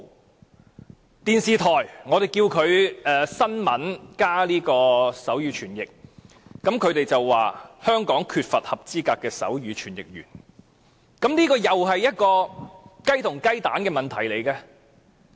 我們要求電視台報道新聞時加設手語傳譯，但他們說香港缺乏合資格的手語傳譯員，這又是一個雞與雞蛋的問題。